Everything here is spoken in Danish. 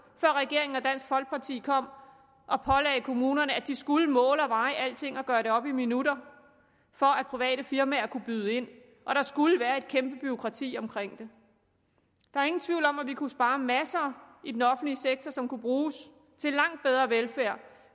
før regeringen og dansk folkeparti kom og pålagde kommunerne at de skulle måle og veje alting og gøre det op i minutter for at private firmaer kunne byde ind og der skulle være et kæmpe bureaukrati omkring det der er ingen tvivl om at vi kunne spare masser i den offentlige sektor som kunne bruges til langt bedre velfærd